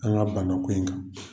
An ka bana ko in kan.